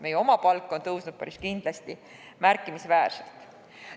Meie palk on tõusnud päris kindlasti märkimisväärselt.